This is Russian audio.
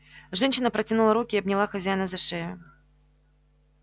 женщина протянула руки и обняла хозяина за шею